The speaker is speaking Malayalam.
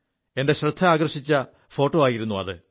എന്റെ ശ്രദ്ധ ആകർഷിച്ച ഫോോ ആയിരുു അത്